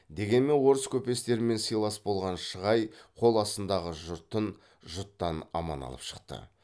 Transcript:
дегенмен орыс көпестерімен сыйлас болған шығай қол астындағы жұртын жұттан аман алып шықты